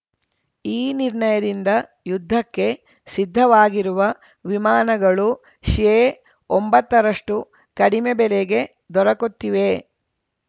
ಈ ನಿರ್ಣಯದಿಂದ ಯುದ್ಧಕ್ಕೆ ಸಿದ್ಧವಾಗಿರುವ ವಿಮಾನಗಳು ಶೇಒಂಬತ್ತರಷ್ಟುಕಡಿಮೆ ಬೆಲೆಗೆ ದೊರಕುತ್ತಿವೆ